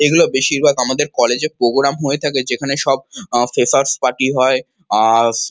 এগুলো বেশির ভাগ আমাদের কলেজে -এ প্রোগ্রাম হয়ে থাকে যেখান সব ফ্রেশার্স পার্টি হয় আ স--